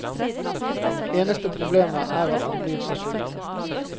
Eneste problemet er at man blir så sulten.